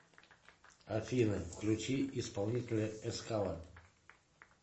афина включи исполнителя эскала